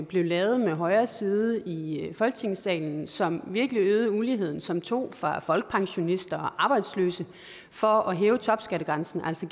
blev lavet med højre side i folketingssalen som virkelig øgede uligheden som tog fra folkepensionister og arbejdsløse for at hæve topskattegrænsen altså